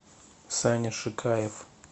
саня шикаев